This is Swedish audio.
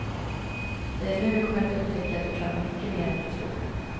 Det är nu du kommer att upptäcka att du klarar mycket mer än du tror.